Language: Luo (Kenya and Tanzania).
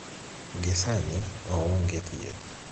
Gi sani, oonge thieth.